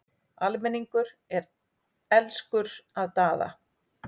Almenningur er elskur að Daða.